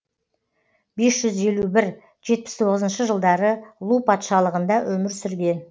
бес жүз елу бір жетпіс тоғызыншы жылдары лу патшалығында өмір сүрген